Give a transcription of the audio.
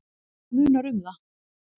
Íbúa þeirra munar um það.